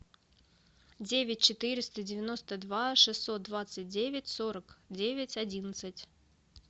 девять четыреста девяносто два шестьсот двадцать девять сорок девять одиннадцать